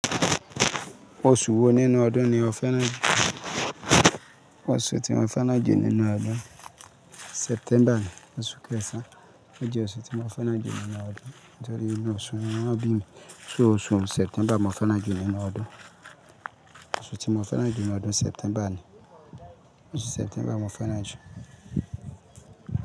Oṣù wo nínú ọdún ni ọ̀fẹ́ náà jó? Oṣù tí mo fẹ́ náà jó nínú ọdún September ni oṣù kẹsàn án. Ó jẹ́ oṣù tí mo fẹ́ náà jó nínú ọdún nítorí inú oṣù náà bí mi. Oṣù September mo fẹ́ran jú nínú ọdún. Oṣù tí mo fẹ́ náà jó nínú ọdún September ni. Oṣù September mo fẹ́ náà ju.